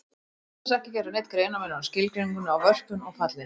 Oftast er ekki gerður neinn greinarmunur á skilgreiningunni á vörpun og falli.